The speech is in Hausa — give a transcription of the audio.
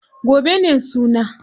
Gobe ne suna.